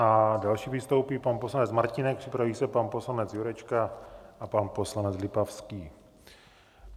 Jako další vystoupí pan poslanec Martínek, připraví se pan poslanec Jurečka a pan poslanec Lipavský.